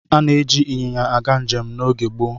Ana-eji ịnyịnya aga njem n'oge gboo.